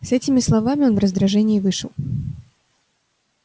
с этими словами он в раздражении вышел